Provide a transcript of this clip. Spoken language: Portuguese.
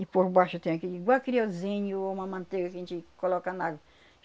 E por baixo tem aquele, igual criouzinho ou uma manteiga que a gente coloca na água.